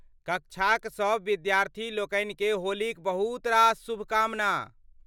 कक्षा क सब विद्यार्धी लोकनिके होलीक बहुत रास शुभकामना!